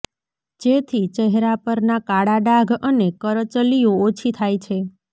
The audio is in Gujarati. જેથી ચહેરા પરના કાળા ડાઘ અને કરચલીઓ ઓછી થાય છે